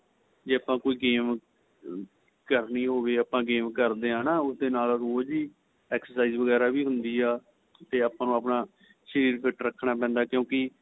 ਜੇ ਆਪਾ ਕੋਈ game ਕਰਨੀ ਹੋਵੇ ਆਪਾ game ਕਰਦੇ ਏ ਹੈਨਾ ਉਸ ਦੇ ਨਾਲ ਰੋਜ ਹੀ exercise ਵਗੇਰਾ ਹੁੰਦੀ ਏ ਤੇ ਆਪਾ ਨੂੰ ਆਪਣਾ ਸ਼ਰੀਰ fit ਰੱਖਣਾ ਪੈਂਦਾ ਕਿਉਂਕਿ